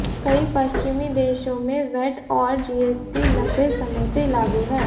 कई पश्चिमी देशों में वैट और जीएसटी लंबे समय से लागू हैं